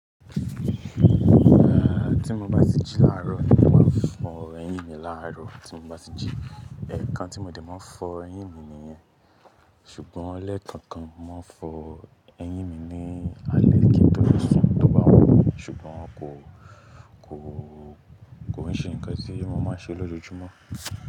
E tí mo bá ti jí láàrọ̀ ni mo máa fọ eyín mi. Láàrọ̀ tí mo bá ti jí, ẹ̀ẹ̀kan tí mo dè máa fọ eyín mi nìyẹn. Ṣùgbọ́n lẹ́ kankan mó ma fọ eyín mi ní alẹ́ kí n tó sun ti o bá wùn mi Ṣùgbọ́n kò, kò, kò ní ṣe nǹkan tí mo máa ṣe lójoojúmọ́